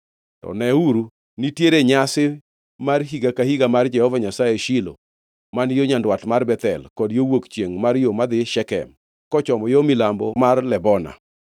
To neuru, nitiere nyasi mar higa ka higa mar Jehova Nyasaye e Shilo, man yo nyandwat mar Bethel, kod yo wuok chiengʼ mar yo madhi Shekem, kochomo yo milambo mar Lebona.”